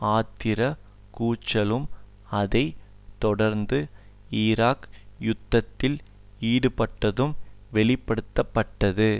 ஆத்திரக் கூச்சலும் அதை தொடர்ந்து ஈராக் யுத்தத்தில் ஈடுபட்டதும் வெளிப்படுத்த பட்டது